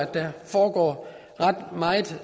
der foregår ret meget